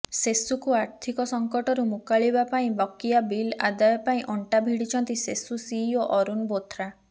ସେସୁକୁ ଆର୍ଥିକ ସଙ୍କଟରୁ ମୁକାଳିବାପାଇଁ ବାକିଆ ବିଲ୍ ଆଦାୟ ପାଇଁ ଅଣ୍ଟା ଭିଡିଛନ୍ତି ସେସୁ ସିଇଓ ଅରୁଣ ବୋଥ୍ରା